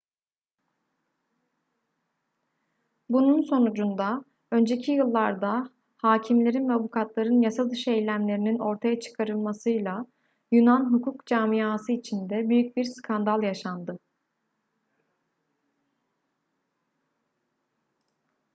bunun sonucunda önceki yıllarda hâkimlerin ve avukatların yasadışı eylemlerinin ortaya çıkarılmasıyla yunan hukuk camiası içinde büyük bir skandal yaşandı